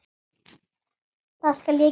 Það skal ég gera.